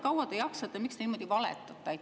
Kui kaua te jaksate ja miks te niimoodi valetate?